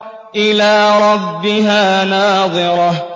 إِلَىٰ رَبِّهَا نَاظِرَةٌ